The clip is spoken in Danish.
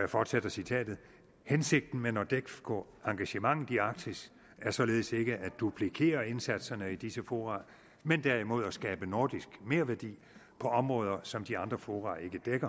jeg fortsætter citatet hensigten med nordefco engagementet i arktis er således ikke at duplikere indsatserne i disse fora men derimod at skabe nordisk merværdi på områder som de andre fora ikke dækker